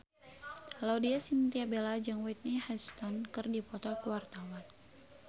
Laudya Chintya Bella jeung Whitney Houston keur dipoto ku wartawan